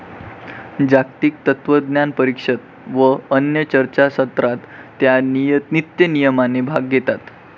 जागतिक तत्वज्ञानपरिषद व अन्य चर्चासत्रांत त्या नित्यनियमाने भाग घेतात.